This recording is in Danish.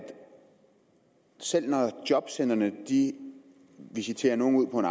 selv når jobcentrene visiterer nogle ud på en